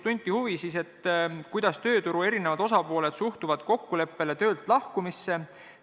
Tunti huvi, kuidas tööturu eri osapooled suhtuvad töölt lahkumise kokkuleppesse.